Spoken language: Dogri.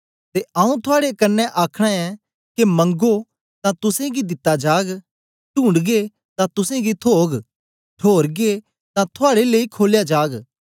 ते आऊँ थुआड़े कन्ने आखना ऐं के मगों तां तुसेंगी दिता जाग टूंढगे तां तुसेंगी थोग ठोरगे तां थुआड़े लेई खोलया जाग